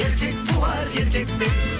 еркек туар еркектен